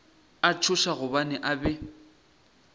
a tšhoša gobane a be